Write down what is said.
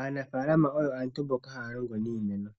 Aanafaalama oyo aantu mboka haya longo niimeno